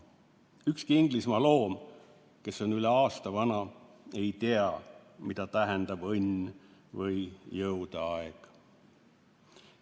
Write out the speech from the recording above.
Ükski Inglismaa loom, kes on üle aasta vana, ei tea, mida tähendab õnn või jõudeaeg.